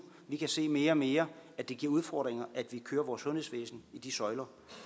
vi kan se mere og mere at det giver udfordringer at vi kører vores sundhedsvæsen i de søjler